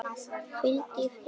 Hvíldu í friði afi.